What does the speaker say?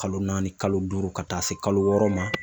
Kalo naani ,kalo duuru ,ka taa se kalo wɔɔrɔ ma.